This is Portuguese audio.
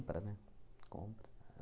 né? Compra